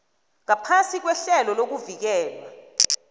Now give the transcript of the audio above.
ngaphasi kwehlelo lokuvikelwa